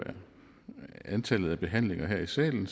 antallet af behandlinger her i salen